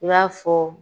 I b'a fɔ